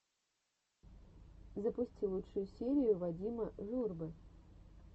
запусти лучшую серию вадима журбы